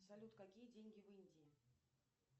салют какие деньги в индии